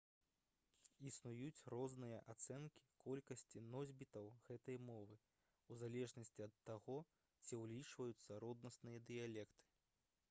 існуюць розныя ацэнкі колькасці носьбітаў гэтай мовы у залежнасці ад таго ці ўлічваюцца роднасныя дыялекты